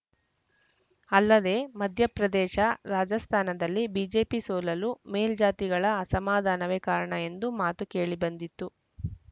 ಅಲ್ಲದೆ ಮಧ್ಯಪ್ರದೇಶ ರಾಜಸ್ಥಾನದಲ್ಲಿ ಬಿಜೆಪಿ ಸೋಲಲು ಮೇಲ್ಜಾತಿಗಳ ಅಸಮಾಧಾನವೇ ಕಾರಣ ಎಂಬ ಮಾತೂ ಕೇಳಿ ಬಂದಿತ್ತು